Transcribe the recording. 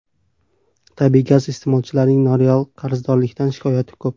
Tabiiy gaz iste’molchilarining noreal qarzdorlikdan shikoyati ko‘p.